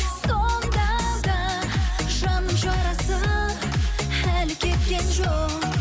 сонда да жанның жарасы әлі кеткен жоқ